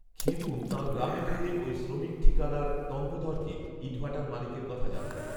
খেদু তাঁর গ্রামে ফিরে ওই শ্রমিক ঠিকাদার টঙ্কধরকে ইটভাটার মালিকের কথা জানান